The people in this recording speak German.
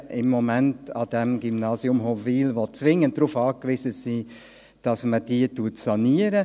Es gibt am Gymnasium Hofwil im Moment Provisorien, welche dringend darauf angewiesen sind, dass sie saniert werden.